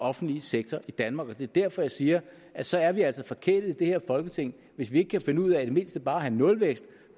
offentlige sektor i danmark og det er derfor jeg siger at så er vi altså forkælet i det her folketing hvis vi ikke kan finde ud af i det mindste bare at have nulvækst